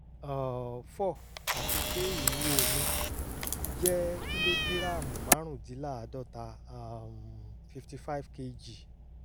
um four àti pé ìwúwo mi jẹ́ kílógíráàmù márùndínláàádọ́ta um fifty five kg